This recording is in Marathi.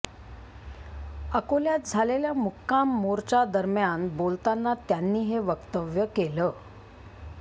अकोल्यात झालेल्या मुक्काम मोर्चादरम्यान बोलताना त्यांनी हे वक्तव्य केलं